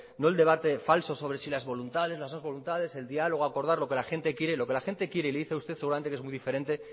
no el debate falso sobre si las voluntades las no voluntades el diálogo acordar lo que gente quiere lo que la gente quiere y le dice a usted seguramente que es muy diferente